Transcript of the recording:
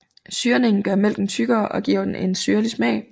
Syrningen gør mælken tykkere og giver den en syrlig smag